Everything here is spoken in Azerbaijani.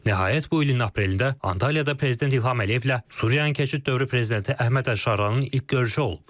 Nəhayət, bu ilin aprelində Antalyada prezident İlham Əliyevlə Suriyanın keçid dövrü prezidenti Əhməd Əlşaranın ilk görüşü olub.